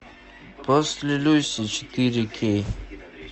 после люси четыре кей